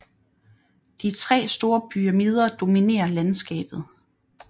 De tre store pyramider dominerer landskabet